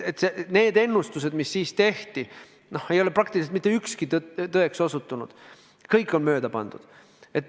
Need ennustused, mis siis tehti, ei ole praktiliselt mitte ükski tõeks osutunud, kõik on mööda pandud.